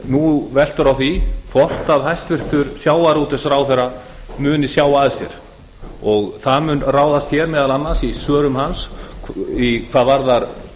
nú veltur á því hvort hæstvirtur sjávarútvegsráðherra muni sjá að sér og það mun ráðast meðal annars í svörum hans hvað varðar